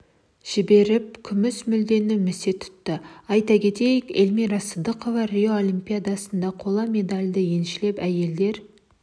жіберіп күміс жүлдені місе тұтты айта кетейік эльмира сыздықова рио олимпиадасында қола медальді еншілеп әйелдер